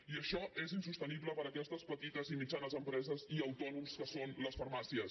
i això és insostenible per aquestes petites i mitjanes empreses i autònoms que són les farmàcies